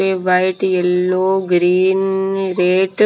white yellow green red --